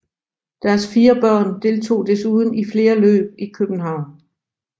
Deres fire børn deltog desuden i flere løb i København